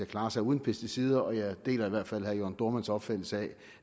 klare sig uden pesticider jeg deler i hvert fald herre jørn dohrmanns opfattelse af